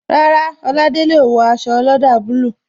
Rárá, Oladele o wo aṣọ ọlọ́dà bulu